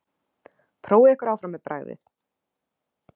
Prófið ykkur áfram með bragðið.